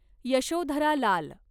Yashodhara Lal